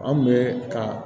An kun bɛ ka